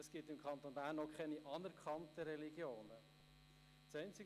Es gibt im Kanton Bern auch keine anerkannten Religionen.